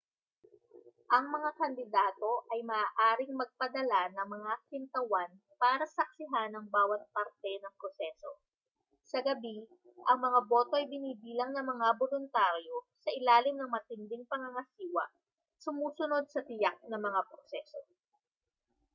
ang mga kandidato ay maaaring magpadala ng mga kinatawan para saksihan ang bawat parte ng proseso sa gabi ang mga boto ay binibilang ng mga boluntaryo sa ilalim ng matinding pangangasiwa sumusunod sa tiyak na mga proseso